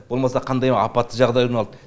болмаса қандай апатты жағдай орын алды